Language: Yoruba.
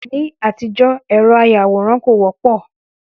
Ní àtijọ́, ẹ̀rọ àyawòran kò wọ́pọ̀